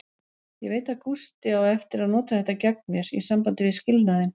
Ég veit að Gústi á eftir að nota þetta gegn mér, í sambandi við skilnaðinn.